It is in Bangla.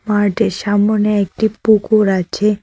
মাঠের সামোনে একটি পুকুর আছে।